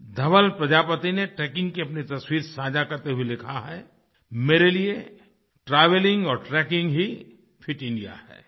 धवल प्रजापति ने ट्रेकिंग की अपनी तस्वीर साझा करते हुए लिखा है मेरे लिए ट्रैवेलिंग और ट्रेकिंग ही फिट इंडिया है